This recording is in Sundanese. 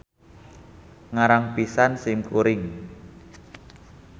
Ngarang pisan sim kuring.